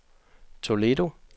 Toledo